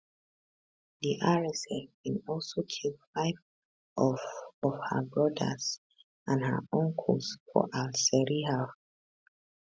di rsf bin also kill five of of her brothers and her uncles for al seriha